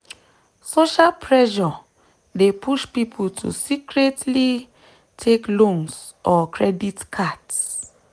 social pressure dey push people to secretly take loans or credit cards.